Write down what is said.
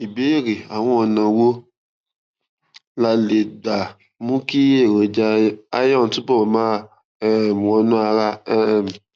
ìbéèrè àwọn ọnà wo la lè lè gbà mú kí èròjà iron túbọ máa um wọnú ara um